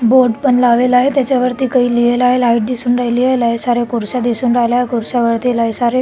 board पण लावलेला आहे त्याच्यावरती काही लिहिल आहे लाइट दिसून राहिली आहे लय साऱ्या खुर्च्या दिसून राहिल्या आहे खुर्च्या लय सारे --